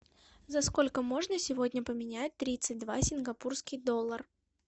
за сколько можно сегодня поменять тридцать два сингапурский доллар